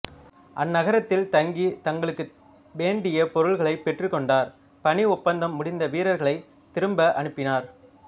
அந்நகரத்தில் தங்கி தங்களுக்கு வேண்டிய பொருள்களைப் பெற்றுக்கொண்டார் பணி ஒப்பந்தம் முடிந்த வீரர்களைத் திரும்ப அனுப்பினார்